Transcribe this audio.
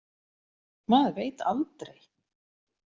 Maður veit aldrei.